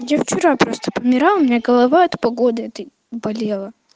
я вчера просто помирала у меня голова от погоды этой болела